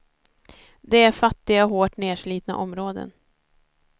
Det är fattiga, hårt nerslitna områden.